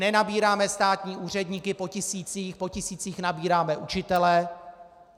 Nenabíráme státní úředníky po tisících, po tisících nabíráme učitele.